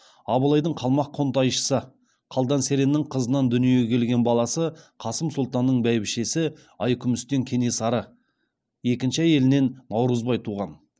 абылайдың қалмақ қоңтайшысы қалдан сереннің қызынан дүниеге келген баласы қасым сұлтанның бәйбішесі айкүмістен кенесары екінші әйелінен наурызбай туған